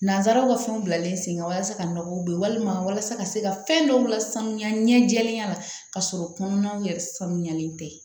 Nanzaraw ka fɛnw bilalen sen kan walasa ka nɔgɔ don walima walasa ka se ka fɛn dɔw la sanuya ɲɛ jɛlenya ka sɔrɔ kɔnɔnaw yɛrɛ sanuyalen tɛ